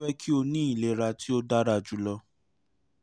mo fẹ ki o ni ilera ti o dara julọ